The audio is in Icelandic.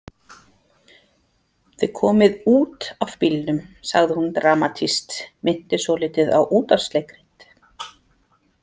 Þið komið út af bílnum, sagði hún dramatískt, minnti svolítið á útvarpsleikrit.